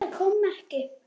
Frúin Bera kom ekki.